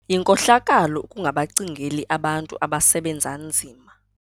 Yinkohlakalo ukungabacingeli abantu abasebenza nzima.